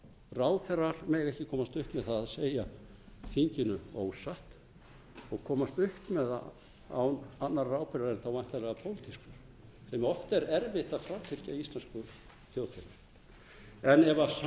ráðherrar mega ekki komast upp með að segja þinginu ósatt og komast upp með það án annarra ráðherra en þá væntanlega pólitískra en oft er erfitt að framfylgja íslensku þjóðfélagi en ef sannleiksskyldan